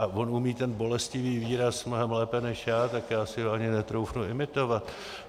A on umí ten bolestivý výraz mnohem lépe než já, tak já si ho ani netroufnu imitovat.